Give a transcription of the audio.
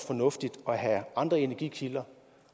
fornuftigt at have andre energikilder